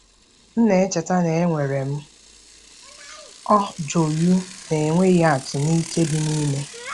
M na-echeta na enwere m ọ joyụ na-enweghị atụ na ike dị n'ime.